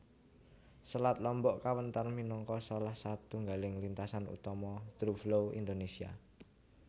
Selat Lombok kawentar minangka salah satunggaling lintasan utama throughflow Indonesia